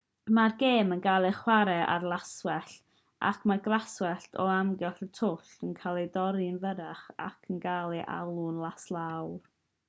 mae'r gêm yn cael ei chwarae ar laswellt ac mae'r glaswellt o amgylch y twll yn cael ei dorri'n fyrrach ac yn cael ei alw'n laslawr